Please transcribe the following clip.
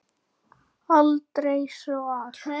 Aldrei svag!